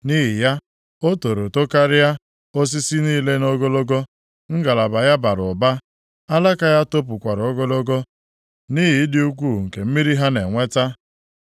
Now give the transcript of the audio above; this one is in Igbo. Nʼihi ya, o toro tokarịa osisi niile nʼogologo. Ngalaba ya bara ụba, alaka ya topụkwara ogologo nʼihi ịdị ukwuu nke mmiri ha na-enweta.